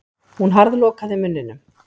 Hún harðlokaði munninum.